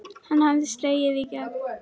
Hann hafði slegið í gegn.